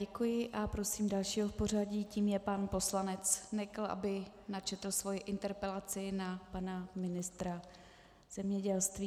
Děkuji a prosím dalšího v pořadí, tím je pan poslanec Nekl, aby načetl svoji interpelaci na pana ministra zemědělství.